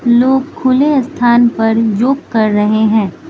लोग खुले स्थान पर योग कर रहे हैं।